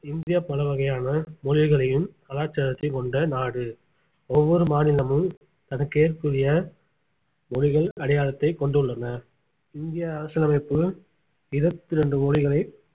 India பல வகையான மொழிகளையும் கலாச்சாரத்தையும் கொண்ட நாடு ஒவ்வொரு மாநிலமும் தனக்கு ஏற்புடைய மொழிகள் அடையாளத்தை கொண்டுள்ளன இந்திய அரசியலமைப்பு இருவத்தி ரெண்டு மொழிகளை